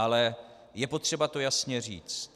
Ale je potřeba to jasně říct.